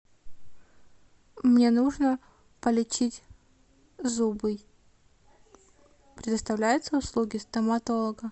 мне нужно полечить зубы предоставляются услуги стоматолога